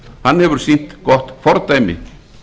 hann hefur sýnt gott fordæmi